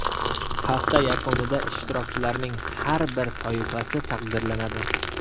Hafta yakunida ishtirokchilarning har bir toifasi taqdirlanadi.